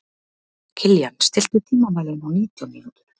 Kilían, stilltu tímamælinn á nítján mínútur.